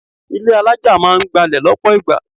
Ilé alájà máa ń gbalẹ̀ lọ́pọ̀ ìgbà.